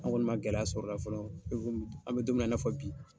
An kɔni ma gɛlɛya sɔrɔ ola fɔlɔ i komi an bɛ don min na i ko bi